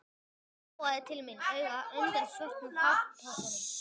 Mamma gjóaði til mín auga undan svörtum hártoppnum.